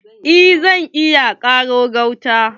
Eh zan iya ƙaro gauta.